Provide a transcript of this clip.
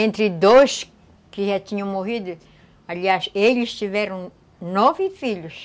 Entre dois que já tinham morrido, aliás, eles tiveram nove filhos.